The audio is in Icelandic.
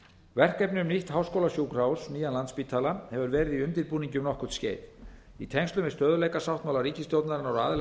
verkefni um nýtt háskólasjúkrahús nýjan landspítala hefur verið í undirbúningi um nokkurt skeið í tengslum við stöðugleikasáttmála ríkisstjórnarinnar og aðila